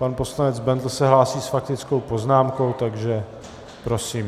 Pan poslanec Bendl se hlásí s faktickou poznámkou, takže prosím.